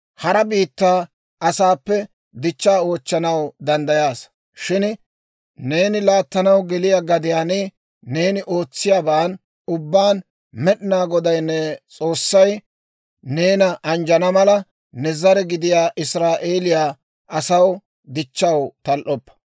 Hara biittaa asaappe dichchaa oochchanaw danddayaasa; shin neeni laattanaw geliyaa gadiyaan neeni ootsiyaaban ubbaan Med'inaa Goday ne S'oossay neena anjjana mala, ne zare gidiyaa Israa'eeliyaa asaw dichchaw tal"oppa.